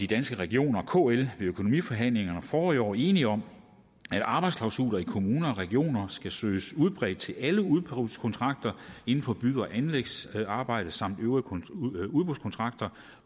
danske regioner og kl ved økonomiforhandlingerne forrige år enige om at arbejdsklausuler i kommuner og regioner skal søges udbredt til alle udbudskontrakter inden for bygge og anlægsarbejder samt øvrige udbudskontrakter